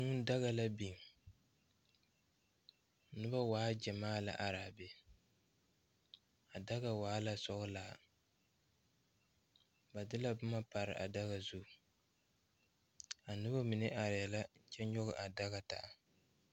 Kūū daga la biŋ nobɔ waa gyamaa lɛ araa be a daga waala sɔglaa ba de la boma pare a daga zu a nobɔ mine arɛɛ la kyɛ nyoge a daga taa.